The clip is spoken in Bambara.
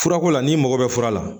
Furako la n'i mago bɛ fura la